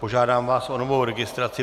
Požádám vás o novou registraci.